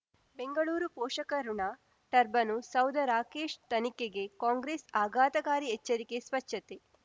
ಬೆಂಗಳೂರು ಪೋಷಕರಋಣ ಟರ್ಬನು ಸೌಧ ರಾಕೇಶ್ ತನಿಖೆಗೆ ಕಾಂಗ್ರೆಸ್ ಆಘಾತಕಾರಿ ಎಚ್ಚರಿಕೆ ಸ್ವಚ್ಛತೆ